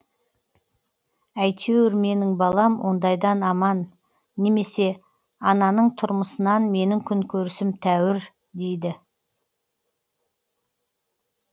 әйтеуір менің балам ондайдан аман немесе ананың тұрмысынан менің күнкөрісім тәуір дейді